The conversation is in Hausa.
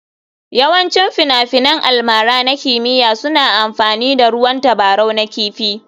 Yawancin finafinan almara na kimiyya suna amfani da ruwan tabarau na kifi.